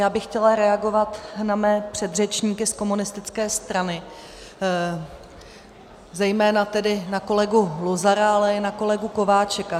Já bych chtěla reagovat na své předřečníky z komunistické strany, zejména tedy na kolegu Luzara, ale i na kolegu Kováčika.